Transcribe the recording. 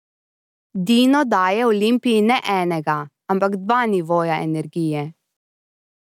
Dino daje Olimpiji ne enega, ampak dva nivoja energije.